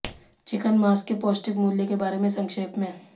chicken मांस के पौष्टिक मूल्य के बारे में संक्षेप में